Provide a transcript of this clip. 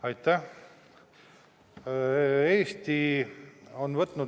Aitäh!